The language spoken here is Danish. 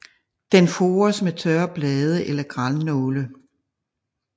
Den fores med tørre blade eller grannåle